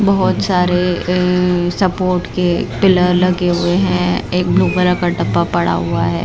बहुत सारे सपोर्ट के पिलर लगे हुए हैं एक ब्लू कलर का डब्बा पड़ा हुआ है।